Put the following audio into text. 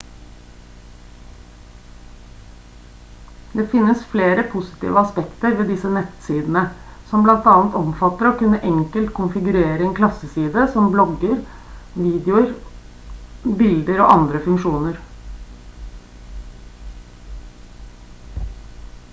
det finnes flere positive aspekter ved disse nettsidene som bl.a. omfatter å kunne enkelt konfigurere en klasseside som blogger videoer bilder og andre funksjoner